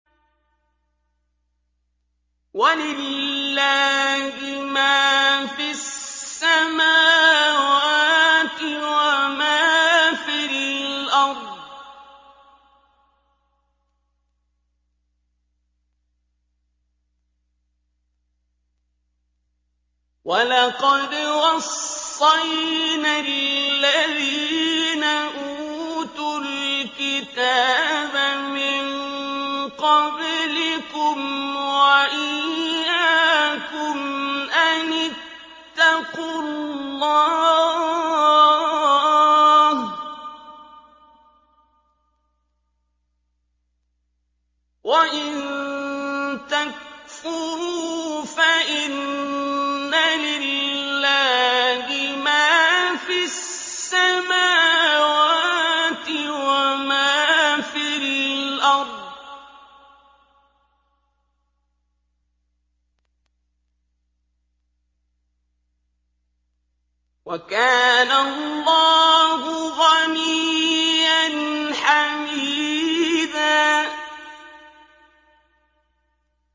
وَلِلَّهِ مَا فِي السَّمَاوَاتِ وَمَا فِي الْأَرْضِ ۗ وَلَقَدْ وَصَّيْنَا الَّذِينَ أُوتُوا الْكِتَابَ مِن قَبْلِكُمْ وَإِيَّاكُمْ أَنِ اتَّقُوا اللَّهَ ۚ وَإِن تَكْفُرُوا فَإِنَّ لِلَّهِ مَا فِي السَّمَاوَاتِ وَمَا فِي الْأَرْضِ ۚ وَكَانَ اللَّهُ غَنِيًّا حَمِيدًا